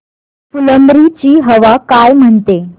फुलंब्री ची हवा काय म्हणते